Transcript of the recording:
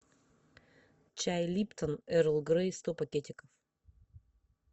чай липтон эрл грей сто пакетиков